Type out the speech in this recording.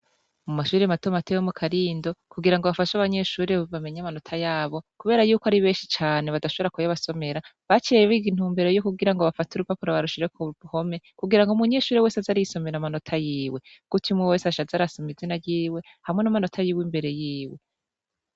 Mu mashuri mato mato yo mu Karindo, kugira ngo bafashe abanyeshure bamenye amanota yabo, kubera yuko ari benshi cane badashobora kuyabasomera, baciye biga intumbero yo kugira ngo bafate urupapuro barushire ku mpome, yo kugira ngo umunyeshuri wese aze arisomera amanota yiwe. Gutyo umwe wese aca aza arasoma izina ryiwe , hamwe n'amanota yiwe imbere yiwe.